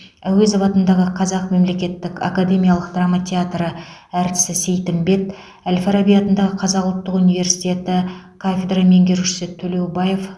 әуезов атындағы қазақ мемлекеттік академиялық драма театры әртісі сейтімбет әл фараби атындағы қазақ ұлттық университеті кафедра меңгерушісі төлеубаев